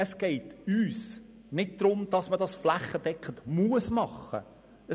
Es geht uns nicht darum, dass eine flächendeckende Einführung ein Muss sein soll.